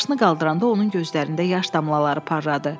Başını qaldıranda onun gözlərində yaş damlaları parladı.